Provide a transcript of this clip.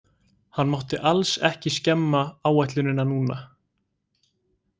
Hann mátti alls ekki skemma áætlunina núna.